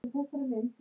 Nema Katrín.